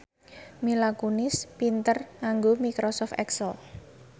Mila Kunis pinter nganggo microsoft excel